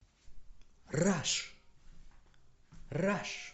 раш раш